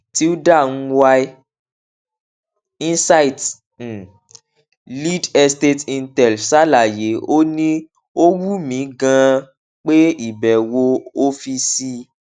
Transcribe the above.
tilda mwai insights um lead estate intel ṣàlàyé ó ní ó wù mí ganan pé ìbèwò ọfíìsì